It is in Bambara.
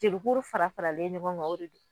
Jelikuru fara faralen ɲɔgɔn kan o de don